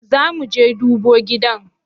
Zamuje dubo gidan?